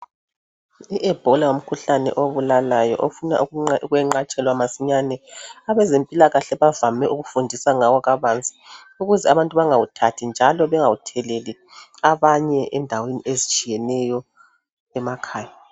I Ebola ngumkhuhlane obulalayo ofuna ukwenqatshwela masinyane abezempilakahle bavame ukufundisa ngawo kabanzi ukuze abantu bangawuthathi njalo bangawuthelele abanye endaweni ezitshiyeneyo emakhaya.